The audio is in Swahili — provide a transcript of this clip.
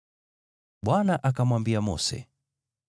Bwana akamwambia Mose,